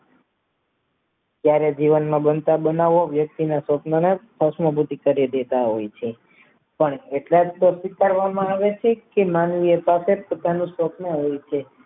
ત્યારે જીવનમાં બનતા બનાવો યક્તિને સપનાઓ તેને ભસ્મ કરી દેતા હોય છે પણ માનવીય તાકાત પોતાના સ્વપ્ન આવે છે